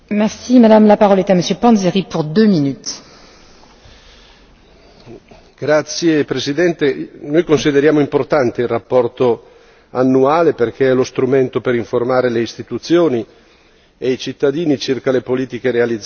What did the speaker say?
Signora Presidente, onorevoli colleghi, noi consideriamo importante il rapporto annuale perché è lo strumento per informare le istituzioni e i cittadini circa le politiche realizzate dall'Unione europea.